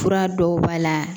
Fura dɔw b'a la